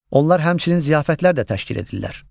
Onlar həmçinin ziyafətlər də təşkil edirlər.